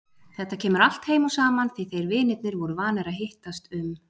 Þetta kemur allt heim og saman því þeir vinirnir voru vanir að hittast um